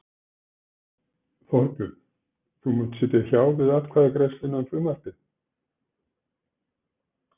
Þorbjörn: Þú munt sitja hjá við atkvæðagreiðsluna um frumvarpið?